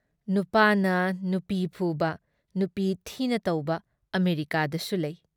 ꯅꯨꯄꯥꯅ ꯅꯨꯄꯤ ꯐꯨꯕ, ꯅꯨꯄꯤ ꯊꯤꯅ ꯇꯧꯕ ꯑꯃꯦꯔꯤꯀꯥꯗꯁꯨ ꯂꯩ ꯫